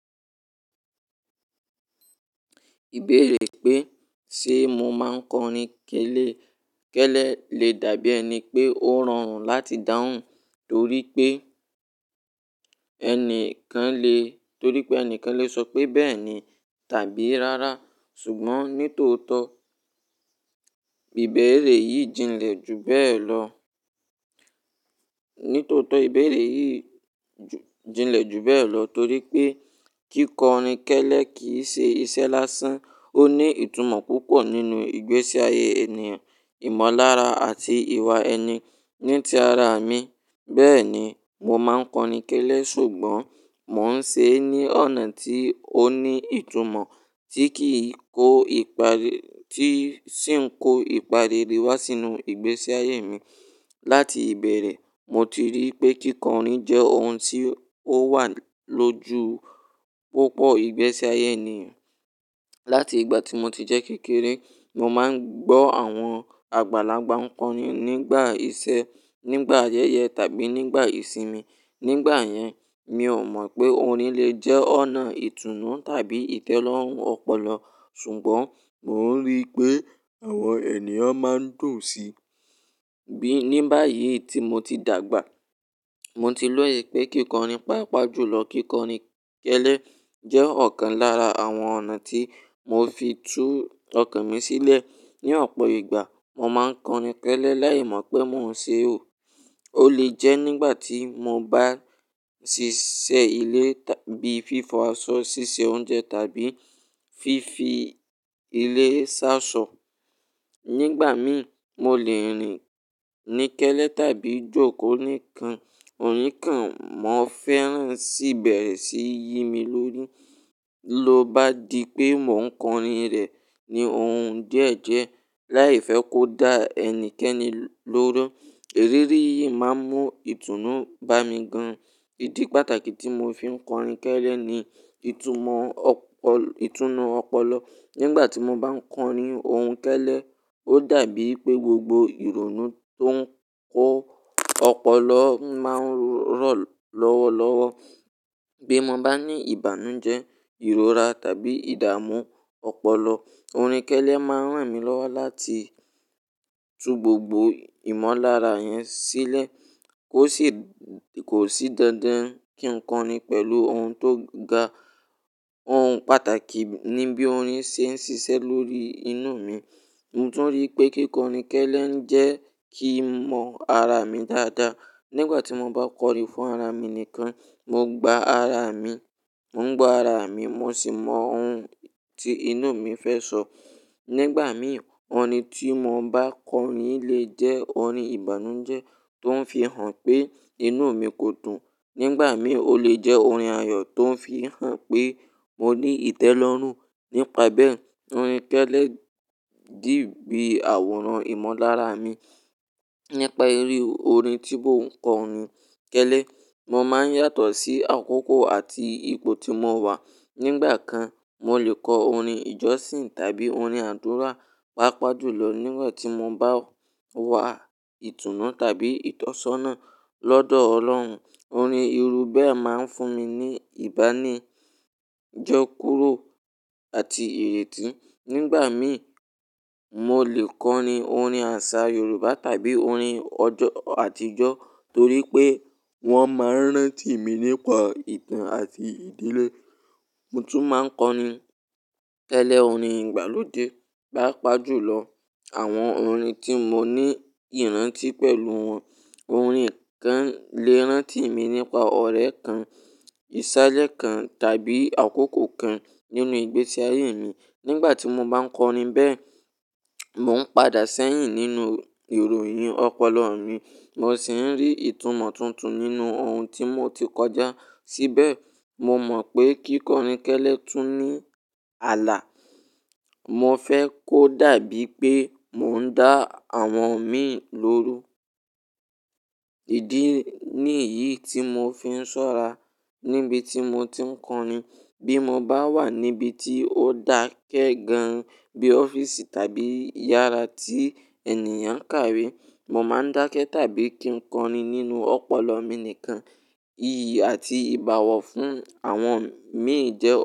Ìbéèrè pé ṣe mo máa ń kọrin kélè, kẹ́lẹ́ le dàbí ẹni pé ó rọrùn láti dáhùn torí pé ẹni kàn le, torí pé ẹni kàn le sọ pé bẹ́ẹ̀ ni tàbí rárá. Ṣùgbọ́n ní tòótọ́, ìbéèrè yìí jinlẹ̀ jù bẹ́ẹ̀ lọ. Ní tòótọ́ ìbéèrè yìí jinlẹ̀ jù bẹ́ẹ̀ lọ torí pé kíkọrin kẹ́lẹ́ kì í ṣe iṣẹ́ lásán. Ó ní ìtumọ̀ púpọ̀ nínú ìgbésí ayé ènìyàn, ìmọ̀lára àti ìwà ẹni. Ní ti ara mi, bẹ́ẹ̀ ni mo máa ń kọrin kẹ́lẹ́, ṣùgbọ́n mò ń ṣe é ní ọ̀nà tí ó ní ìtumọ̀ tí kì í kó ìpari, tí sì ń kó ìpà rere wá sínú ìgbésí ayé mi. Láti ìbẹ̀rẹ̀, mo ti rí pé kíkọrin jẹ́ ohun tí ó wà lójú púpọ̀ ìgbésí ayé ènìyàn. Láti ìgbà tí mo ti jẹ́ kékeré, mo máa ń gbọ́ àwọn àgbàlagbà ń kọrin nígbà iṣẹ́, nígbà ayẹyẹ tàbí nígbà ìsinmi. Nígbà yẹn, mi ò mọ̀ pé orin le jẹ́ ọ̀nà ìtùnú tàbí ìtẹ́lọ́rùn ọpọlọ, ṣùgbọ́n mò ń rí pé àwọn ènìyàn máa ń dùn sí i. Bí ní báyìí tí mo ti dàgbà, mo ti loye pé kíkọrin, pàápàá jùlọ kíkọrin kẹ́lẹ́ jẹ́ ọ̀kan lára àwọn ọ̀nà tí mò fi tú ọkàn mi sílẹ̀. Ní ọ̀pọ̀ ìgbà, mo máa ń kọrin kẹ́lẹ́ láì mọ̀ pé mò ń ṣe ò. Ó lè jẹ́ nígbà tí mo bá ṣìṣẹ́ ilé bíi fífo aṣọ, ṣíṣe oúnjẹ tàbí fífi ilé ṣàṣọ. Nígbà mi, mo lè rin ni kẹ́lẹ́ tàbí jókòó nìkan. Òní kan, mò ń fẹ́ràn síbẹ̀rẹ̀ sí yí mi lórí. Ló bá di pé mò ń kọrin rẹ̀ ní ohun díẹ̀ jẹ́ láì fẹ́ kó dá ẹnikẹ́ni lóró, èrírí yìí máa ń mú ìtùnú bá mi gan. Ìdí pàtàkì tí mò fi ń kọrin kẹ́lẹ́ ni ìtumọ̀ ọpọ, ìtùnú ọpọlọ. Nígbà tí mo bá ń kọrin ohun kẹ́lẹ́, ó dàbí pé gbogbo ìrònú tó ń kó ọpọlọ máa ń rọ̀ lọ́wọ́ lọ́wọ́. Bí mo bá ní ìbànújẹ́, ìrora tàbí ìdààmú ọpọlọ, orin kẹ́lẹ́ máa ń ràn mí lọ́wọ́ láti tú gbogbo ìmọ̀lára yẹn sílẹ̀ kó sì, kò sì dandan kí n kọrin pẹ̀lú ohun tó ga. Ohun pàtàkì ni bí orin ṣe ń ṣiṣẹ́ lórí inú mi. Mo tún rí pé kíkọrin kẹ́lẹ́ ń jẹ́ kí n mọ ara mi dáadáa. Nígbà tí mo bá kọrin fún ara mi nìkan, mo gba ara mi, mò ń gba ara mi, mo sì mọ ohun tí inú mi fẹ́ sọ. Nígbà mi, orin tí mo bá kọrin lè jẹ́ orin ìbànújẹ́ tó ń fi hàn pé inú mi kò dùn. Nígbà mi, ó lè jẹ́ orin ayọ̀ tó ń fi hàn pé mo ní ìtẹ́lọ́rùn. Nípa bẹ́ẹ̀, orin kẹ́lẹ́ dì bí àwòrán ìmọ̀lára mi. Nípa eré orin tí mò ń kọrin kẹ́lẹ́, mo máa ń yàtọ̀ sí àkókò àti ipò tí mo wà. Nígbà kan, mo lè kọ orin ìjọsìn tàbí orin àdúrà, pàápàá jùlọ nígbà tí mo bá wà ìtùnú tàbí ìtọ́sọ́nà lọ́dọ̀ Ọlọ́run. Orin irú bẹ́ẹ̀ máa ń fún mi ní ìbánidọ́kùró àti irètí. Nígbà mi, mo lè kọrin orin àṣà Yorùbá tàbí orin ọjọ́ àtijọ́ torí pé wọ́n máa ń rántí mi nípa ìtàn àti ìdílé. Mo tún máa ń kọrin kẹ́lẹ́ orin ìgbàlódé, pàápàá jùlọ àwọn orin tí mo ní ìrántí pẹ̀lú wọn. Orin kàn lè rántí mi nípa ọ̀rẹ́ kan, ìsàlẹ̀ kan tàbí àkókò kan nínú ìgbésí ayé mi. Nígbà tí mo bá ń kọrin bẹ́ẹ̀, mò ń padà sẹ́yìn nínú ìròyìn ọpọlọ mi, mo sì ń rí ìtumọ̀ tuntun nínú ohun tí mo ti kọjá síbẹ̀. Mo mọ̀ pé kíkọrin kẹ́lẹ́ tún ní ààlà. Mo fẹ́ kó dàbí pé mò ń dá àwọn mi lóró. Ni èyí tí mò fi ń ṣọ́ra níbi tí mo ti ń kọrin. Bí mo bá wà níbi tí ó dákẹ́ gan an bí ọ́fíìsì tàbí yàrá tí ènìyàn ń kàwé, mo máa ń dákẹ́ tàbí kí n kọrin nínú ọpọlọ mi nìkan. Iyì àti ìbáwọ̀ fún àwọn mi jẹ́ òfin.